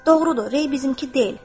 Doğrudur, Rey bizimki deyil.